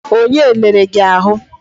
Onye lere gị ahụ?